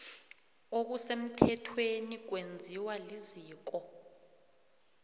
okusemthethweni kwenziwa liziko